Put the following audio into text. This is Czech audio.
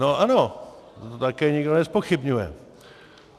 No ano, to také nikdo nezpochybňuje.